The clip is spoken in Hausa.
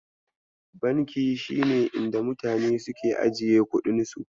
Banki shine inda mutane suke ajiye kuɗin su.